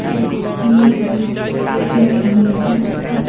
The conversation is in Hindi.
कुर्सियां भी कहीं कहीं है और--